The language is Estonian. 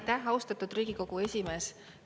Aitäh, austatud Riigikogu esimees!